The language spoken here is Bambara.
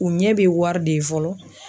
U ɲɛ be wari de ye fɔlɔ